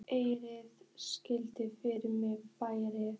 Eiðunn, syngdu fyrir mig „Flæði“.